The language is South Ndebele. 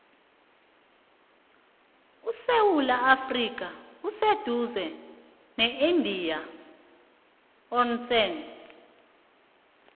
isewula afrika iseduze ne indian ocean